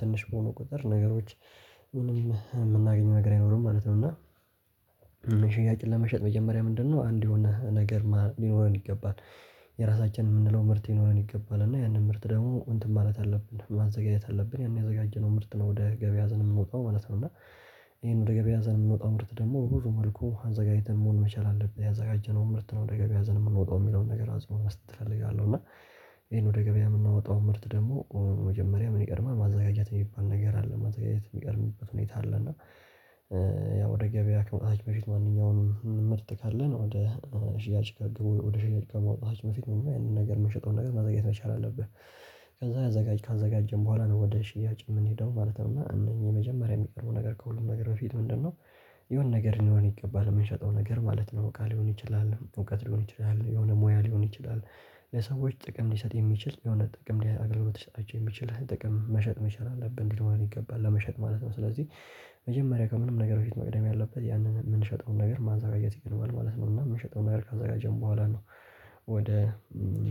ትንሽ በሆኑ ቁጥር ነገሮች ምንም የምናገኘው ነገር አይኖርም ማለት ነው። እና ለመሸጥ መጀመሪያ ምንድነው አንድ የሆነ ነገር ማር ሊኖረን ይገባል። የራሳችን የምንለው ምርት ሊኖረን ይገባል እና ያንን ምርት ደግሞ እንትን ማለት አለብን ማዘጋጀት አለብን ያን ያዘጋጀነውን ምርት ነው ወደ ገበያ ሀዘን የምወጣው ማለት ነው። እና ይሄን ወደ ገበያ ሀዘን የምንወጣው ምርት ደግሞ ብዙ መልኩ አዘጋጅተን መሆን መቻል አለብን ያዘጋጀነውን ምርት ነው ደገብ ያዘን የምንወጣው የሚለውን ነገር አዝሮ መስጠት አለው። እና ይሄን ወደ ገበያ የምናወጣው ምርት ደግሞ በመጀመሪያ ምን ይቀድማል ማዘጋጀት የሚባል ነገር አለ ማዘጋጀት የሚቀድምበት ሁኔታ አለ። ያው ወደ ገበያ ከመታች በፊት ማንኛውንም ምርጥ ካለን ወደ ሽያጭ ከግብ ወደ ሽያጭ ከመውጣታችን በፊት የሆነ ነገር የምንሸጠውን ነገር ማዘጋጀት መቻል አለብህ። ከዛ አዘጋጅ ካዘጋጀን በኋላ ነው ወደ ሽያጭ የምንሄደው ማለት ነው። እና እነኚህ የመጀመሪያ የሚቀርቡ ነገር ከሁሉም ነገር በፊት ምንድነው? የሆነ ነገር እንደሆነ ይገባል የምንሸጠው ነገር ማለት ነው ቃል ሊሆን ይችላል እውቀት ሊሆን ይችላል የሆነ ሙያ ሊሆን ይችላል። ለሰዎች ጥቅም ሊሰጥ የሚችል የሆነ ጥቅም ሊያገልግሽ የሚችል የሆነ ጥቅም መሸጥ መቻል አለብህ እንዲለው አለው ይገባል ለመሸጥ ማለት ነው። ስለዚህ መጀመሪያ ከምንም ነገር በፊት መቅደም ያለበት ያንን የምንሸጠውን ነገር ማዘጋጀት ይገባል ማለት ነው። እና የምንሸጠውን ነገር ከዛ ጋር ጀምሮ በኋላ ነው። ወደ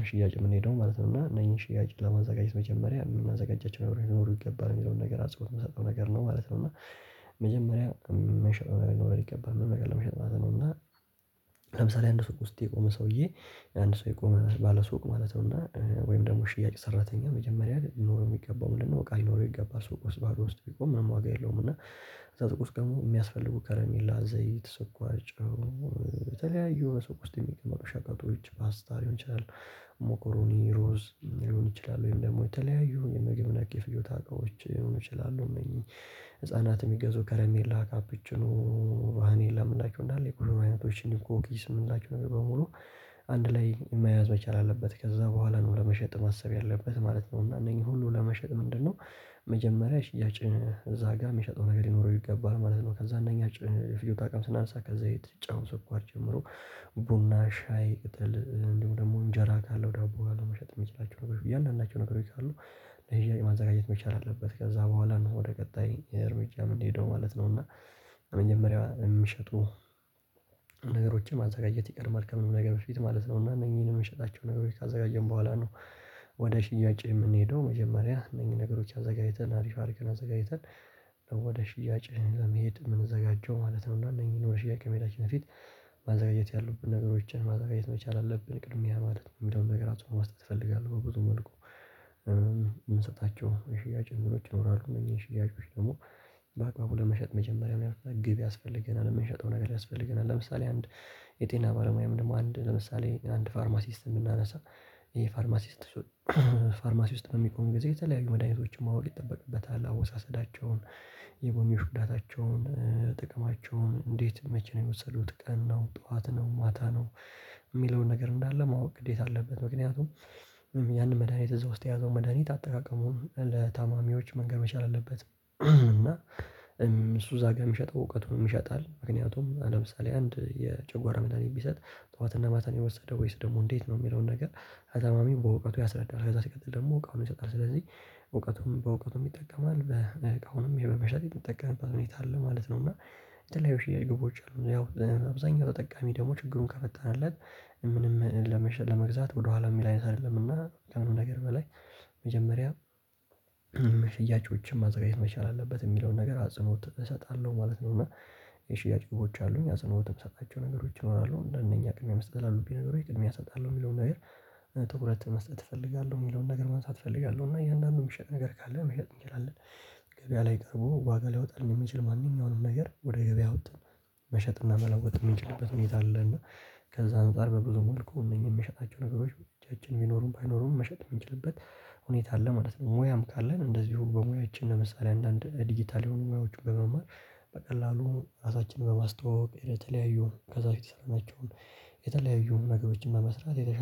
ሽያጭ የምንሄደው ማለት ነው። እና እነዚህን ሽያጭ ለማዘጋጀት መጀመሪያ የምናዘጋጃቸው ይኖሩ ይገባል የሚለውን ነገር አጽፎት የምንሰጠው ነገር ነው ማለት ነው። እና መጀመሪያ የመሸጥ መኖር ይገባል ምን ነገር ለመሸጥ ማለት ነው። እና ለምሳሌ አንድ ሰው ውስጥ የቆመ ሰውዬ። አንድ ሰው የቆመ ባለሱቅ ማለት ነው። እና ወይም ደግሞ ሽያጭ ሰራተኛ መጀመሪያ ኖሮ የሚገባው ምንድነው? ቃል ኖሮ የሚገባ ሰው ቆስባሪ ውስጥ ቢቆም ምንም ዋጋ የለውም። እና እዛ ቆስባሪ የሚያስፈልጉ ከረሜላ ዘይት ሰቋጭ። በተለያዩ የሆነ ሰው ቁስጥን የሚቀመጡ ሻቃጦች ፓስታ ሊሆን ይችላል። ሞኮሮኒ ሮዝ ሊሆን ይችላል ወይም ደግሞ የተለያዩ የምግብ ነቂ የፍዮታ አቋሞች ሊሆን ይችላሉ። እነዚህ ህፃናት የሚገዙ ከረሜላ ካፕችኑ። አኔ ላምናችሁ እንዳለ የቁርም አይነቶችን ሊቆም እኮ እንግዲህ ስምን እንላችሁ ነበር በሙሉ። አንድ ላይ መያዝ መቻል አለበት ከዛ በኋላ ነው ለመሸጥ ማሰብ ያለበት ማለት ነው። እና እነኚህ ሁሉ ለመሸጥ ምንድነው? መጀመሪያ ሽያጭ እዛ ጋር የሚሸጠው ነገር ሊኖረው ይገባል ማለት ነው። ከዛ እነኚህ ፍየው ታውቃለህ ስናነሳ ከዘይት ጫው ሰኳር ጀምሮ ቡና ሻይ ቅጠል እንዲሁ ደግሞ እንጀራ ካለው ዳቦ አለመሸጥ የሚችላቸው ነገሮች በእያንዳንዳቸው ነገሮች አሉ። እንደዚህ ማዘጋጀት መቻል አለበት ከዛ በኋላ ነው ወደ ቀጣይ እርምጃ ምን ማለት ነው? እና መጀመሪያ የምሸጡ ነገሮችን ማዘጋጀት ይቀድማል ከምንም ነገር በፊት ማለት ነው። እና እነዚህን የሚሸጣቸው ነገሮች ካዘጋጀን በኋላ ነው። ወደ ሽያጭ የምንሄደው መጀመሪያ እነኚህ ነገሮች አዘጋጅተን አሪፍ አድርገን አዘጋጅተን ወደ ሽያጭህ ለመሄድ የምንዘጋጀው ማለት ነው። እና እነዚህን ወደ ሽያጭ መሄዳችን በፊት ማዘጋጀት ያሉብን ነገሮችን ማዘጋጀት መቻል አለብን ቅድም ያ ማለት ነው። የሚለውን ነገር አትመስልም እፈልጋለሁ። በብዙ መልኩ የምንሰጣቸው ሽያጭ እንግዶች ይኖራሉ እነዚህን ሽያጮች ደግሞ በአቅማቡ ለመሸጥ መጀመሪያ መልካም ግብ ያስፈልገናል። የምንሸጠው ነገር ያስፈልገናል ለምሳሌ አንድ የጤና ባለሙያ ምንም አንድ ለምሳሌ አንድ ፋርማሲስት እንድናነሳ ይሄ ፋርማሲስት ፋርማሲስት ውስጥ በሚኮን ጊዜ የተለያዩ መድሃኒቶችን ማወቅ ይጠበቅበታል። አወሳሰዳቸውን የጎሚ ሽኩዳታቸውን ጥቅማቸውን እንዴት መቼ ነው የወሰዱት ቀን ነው ጠዋት ነው ማታ ነው። የሚለውን ነገር እንዳለ ማወቅ ግዴታ አለበት። ምክንያቱም ያንን መድሃኒት እዛ ውስጥ የያዘው መድሃኒት አጠቃቀሙን ለታማሚዎች መንገድ መቻል አለበት። እና እሱ ዛጋ የሚሸጠው እውቀቱን ይሸጣል። ምክንያቱም ለምሳሌ አንድ የጨጓራ መታኒት ቢሰጥ ጠዋትና ማታን የወሰደ ወይስ ደግሞ እንዴት ነው የሚለውን ነገር አዛማሚው በእውቀቱ ያስረዳል። ከዛ ሲቀጥል ደግሞ እውቀቱን ይሰጣል ስለዚህ እውቀቱም በእውቀቱም ይጠቀማል በአሁንም የበበሻት የተጠቀመባት ሁኔታ አለ ማለት ነው። እና የተለያዩ ሽያጭ ግቦች አሉ። ያው አብዛኛው ተጠቃሚ ደግሞ ችግሩን ከፈተንለት ምንም ለመግዛት ወደኋላ የሚል አይነት አይደለምና ከምንም ነገር በላይ መጀመሪያ ሽያጮችን ማዘጋጀት መቻል አለበት የሚለውን ነገር አጽንኦት እሰጣለሁ ማለት ነው። እና የሽያጭ ግቦች አሉኝ አዘነውትም ሰጣቸው ነገሮች እሆናለሁ እንደነኛ ቅድሚያ መስጠት አሉብኝ ነገሮች የሚያሰጣለው የሚለውን ነገር ትኩረት መስጠት እፈልጋለሁ የሚለውን ነገር መንሳት እፈልጋለሁ። እና እያንዳንዱን የሚሸጥ ነገር ካለ መሸጥ እንችላለን። ገበያ ላይ ቀርቦ ዋጋ ሊያወጣ የሚችል ማንኛውንም ነገር ወደ ገበያ ወጥተን መሸጥና መለወጥ የምንችልበት መኝታ አለ። እና ከዛ አንፃር በብዙ መልኩ እነኚህ የምሸጣቸው የምንችልበት መሸጥ ነው የምንችልበት ሁኔታ አለ ማለት ነው። ሙያም ካለን እንደዚሁ በሙያችን ለምሳሌ አንዳንድ ዲጂታል የሆኑ ሙያዎቹን በመማር በቀላሉ ራሳችንን በማስተዋወቅ የተለያዩ ከዛ በፊት የሰራናቸውን የተለያዩ ነገሮችን በመስራት የተሻለ